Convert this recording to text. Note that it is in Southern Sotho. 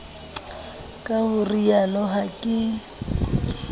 ka ho rialo ha ke